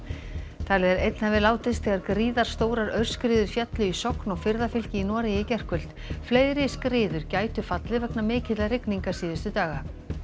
talið er að einn hafi látist þegar gríðarstórar aurskriður féllu í Sogn og firðafylki í Noregi í gærkvöld fleiri skriður gætu fallið vegna mikilla rigninga síðustu daga